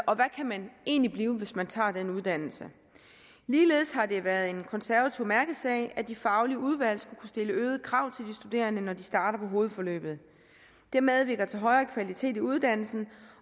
og hvad man egentlig kan blive hvis man tager den uddannelse ligeledes har det været en konservativ mærkesag at de faglige udvalg skulle kunne stille øgede krav til de studerende når de starter på hovedforløbet det medvirker til højere kvalitet i uddannelsen